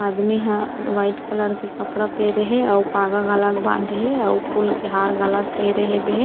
आदमी ह white colour के कपड़ा पेहरे हे अउ पागा घलाक बांधे हे अउ फूल के हार घलाक पेहरे हेबे हे।